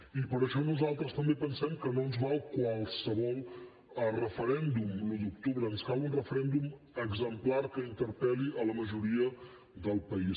i per això nosaltres també pensem que no ens val qualsevol referèndum l’un d’octubre ens cal un referèndum exemplar que interpel·li la majoria del país